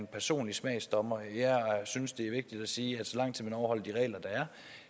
personlig smagsdommer jeg synes det er vigtigt at sige at så lang tid man overholder de regler der